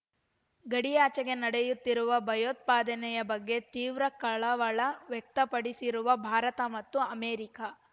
ಗಡಿಯಾಚೆಗೆ ನಡೆಯುತ್ತಿರುವ ಭಯೋತ್ಪಾದನೆಯ ಬಗ್ಗೆ ತೀವ್ರ ಕಳವಳ ವ್ಯಕ್ತಪಡಿಸಿರುವ ಭಾರತ ಮತ್ತು ಅಮೆರಿಕಾ